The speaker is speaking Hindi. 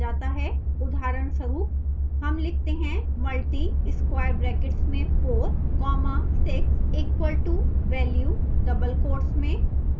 उदाहरणस्वरूप हम लिखते हैं multi square brackets में 4 comma 6 equal to value double quotes में